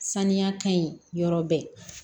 Saniya ka ɲi yɔrɔ bɛɛ